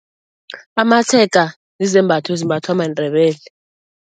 Amatshega zizembatho ezimbathwa maNdebele.